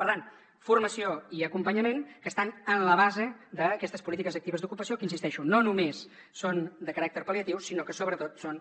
per tant formació i acompanyament que estan en la base d’aquestes polítiques actives d’ocupació que hi insisteixo no només són de caràcter pal·liatiu sinó que sobretot són